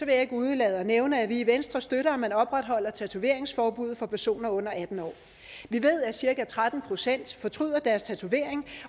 jeg ikke undlade at nævne at vi i venstre støtter at man opretholder tatoveringsforbuddet for personer under atten år vi ved at cirka tretten procent fortryder deres tatovering